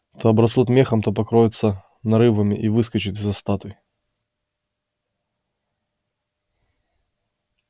то обрастут мехом то покроются нарывами и выскочат из-за статуй